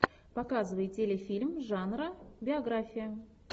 показывай телефильм жанра биография